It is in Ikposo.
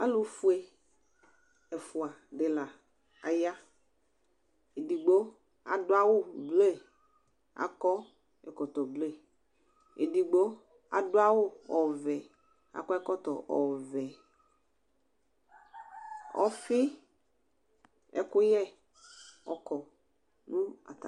Alʋ fue ɛfʋa dila aya edigbo adʋ awʋ ble akɔ ɛkɔtɔ ble edigbo adʋ awʋ ɔvɛ akɔ ɛkɔtɔ ɔvɛ ɔfi ɛkʋyɛ ɔkʋ nʋ atami ɛtʋ